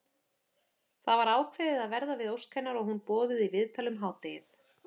Það var ákveðið að verða við ósk hennar og hún boðuð í viðtal um hádegið.